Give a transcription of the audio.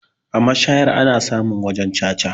A mashaya ana samun wajan caca.